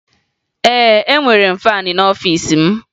Ee, enwere m faanị n'ọfiisi m